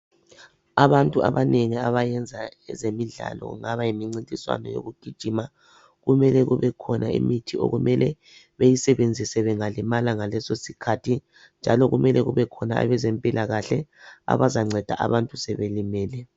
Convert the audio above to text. Abantu abanengi abayenza ezemidlalo kungaba yimncintiswano yokugijima kumele kube khona imithi okumele beyisebenzise bengalimala ngaleso sikhathi njalo kumele kube khona abezempilakahle abazanceda abantu sebelimele.